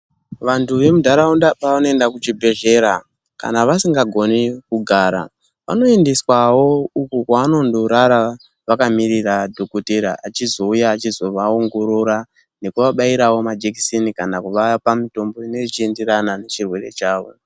Vantu vemuntaraunda pevanoende kuchibhedhlera kana vasingagoni kugara vanoendeswawo uko kwevanondorara vakamirira dhogodheya achizouya eizovaongorora nekuvabayirawo majekiseni kana kuvapa mitombo inenge ichienderana nechirwere chavo.